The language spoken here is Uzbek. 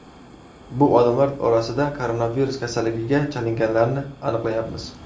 Bu odamlar orasida koronavirus kasalligiga chalinganlarni aniqlayapmiz.